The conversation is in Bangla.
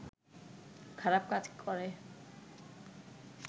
খারাপ কাজ করে